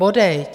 Bodejť.